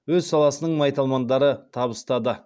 өз саласының майталмандары табыстады